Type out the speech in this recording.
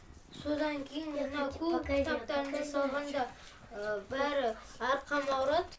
содан кейін мынау көп кітаптарымды салғанда бәрі арқам ауырады